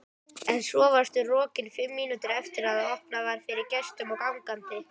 En svo varstu rokin fimm mínútum eftir að opnað var fyrir gestum og gangandi.